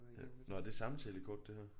Ja nåh er det samtalekort det her